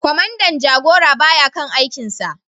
Kwamandan jagora ba ya kan aikinsa